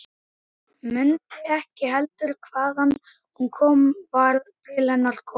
Mundi ekki heldur hvaðan hún var til hennar komin.